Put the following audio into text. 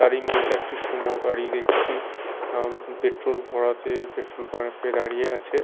তারই মধ্যে একটি সুমো গাড়ি দেখছি আঃ পেট্রোল ভরাতে পেট্রোল পাম্প -এ দাঁড়িয়ে আছে।